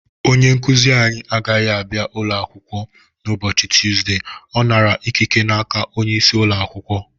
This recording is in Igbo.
Onye nkuzi anyị agaghị abịa ụlọ akwụkwọ n' ụbọchị Tụzde ọ nara ikike n'aka onye isi ụlọ akwụkwọ